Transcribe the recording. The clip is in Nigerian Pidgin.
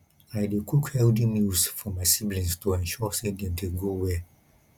i dey cook healthy meals for my siblings to ensure sey dem dey grow well